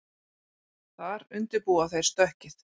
Þar undirbúa þeir stökkið